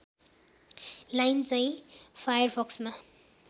line चाहिँ फायरफक्समा